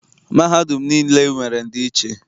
Mahadum niile nwere ndị nche.